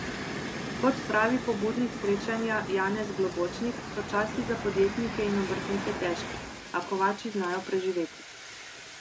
Kot pravi pobudnik srečanja Janez Globočnik, so časi za podjetnike in obrtnike težki, a kovači znajo preživeti.